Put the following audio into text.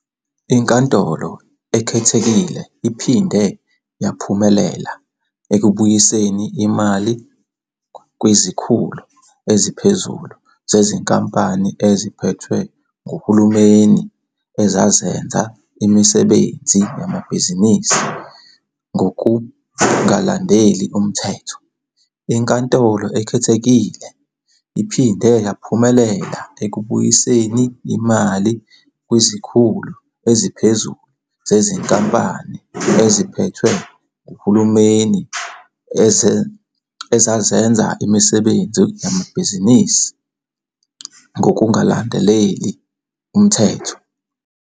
INkantolo Ekhethekile iphinde yaphumelela ekubuyiseni imali kwizikhulu eziphezulu zezinkampani eziphethwe nguhulumeni ezazenza imisebenzi yamabhizinisi ngokungalandeli umthetho. INkantolo Ekhethekile iphinde yaphumelela ekubuyiseni imali kwizikhulu eziphezulu zezinkampani eziphethwe nguhulumeni ezazenza imisebenzi yamabhizinisi ngokungalandeli umthetho.